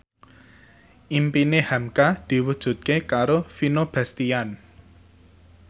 impine hamka diwujudke karo Vino Bastian